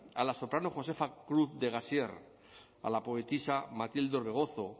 a la soprano josefa cruz de gassier a la poetisa matilde orbegozo